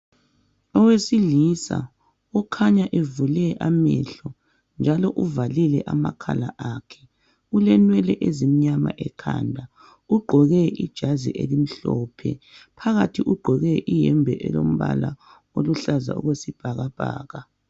Owesilisa okhanya evule amehlo njalo uvalile amakhala akhe, ulenwele ezimnyama ekhanda ugqoke ijazi elimhlophe. Phakathi ugqoke iyembe elombala oluhlaza okwesibhakabhaka.